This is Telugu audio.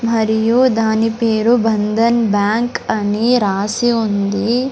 మరియు దాని పేరు బంధన్ బ్యాంక్ అని రాసి ఉంది.